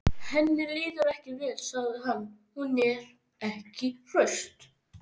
Henni líður ekki vel, sagði hann: Hún er ekki hraust.